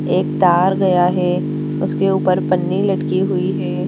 एक तार गया है उसके ऊपर पन्नी लटकी हुई है।